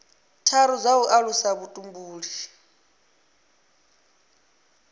tharu dza u alusa vhutumbuli